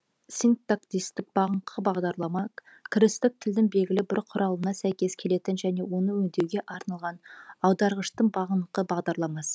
синтаксистік бағыныңқы бағдарлама кірістік тілдің белгілі бір құралымына сәйкес келетін және оны өңдеуге арналған аударғыштың бағыныңқы бағдарламасы